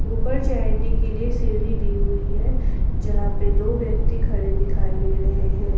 ऊपर चढ़ने के लिए सीढी दी हुई है जहां पे दो व्यक्ति खड़े दिखाई दे रहे हैं।